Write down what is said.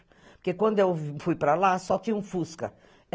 Porque quando eu fui para lá, só tinha um fusca.